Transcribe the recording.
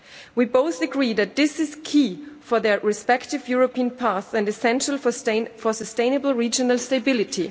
We both agree that this is key for their respective European paths and essential for sustainable regional stability.